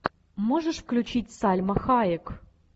можешь включить сальма хайек